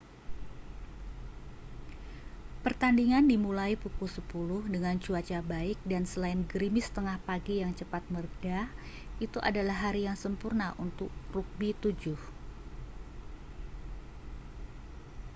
pertandingan dimulai pukul 10.00 dengan cuaca baik dan selain gerimis tengah pagi yang cepat mereda itu adalah hari yang sempurna untuk rugby 7